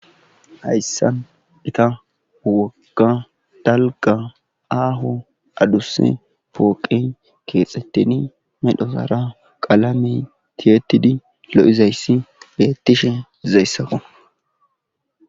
hayssan ita wogka dalga aaho aduse pooqe keexxetteni medhosara qalame tiyettidi lo7izayssi beettishe izayssakan